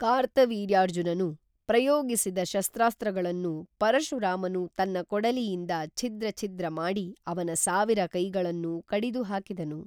ಕಾರ್ತವೀರ್ಯಾರ್ಜುನನು ಪ್ರಯೋಗಿಸಿದ ಶಸ್ತ್ರಾಸ್ತ್ರಗಳನ್ನು ಪರಶುರಾಮನು ತನ್ನ ಕೊಡಲಿಯಿಂದ ಛಿದ್ರ ಛಿದ್ರ ಮಾಡಿ ಅವನ ಸಾವಿರ ಕೈಗಳನ್ನೂ ಕಡಿದು ಹಾಕಿದನು